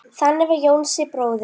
Þannig var Jónsi bróðir.